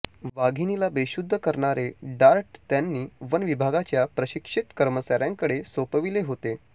वाघिणीला बेशुद्ध करणारे डार्ट त्यांनी वन विभागाच्या प्रशिक्षित कर्मचाऱ्यांकडे सोपविले होते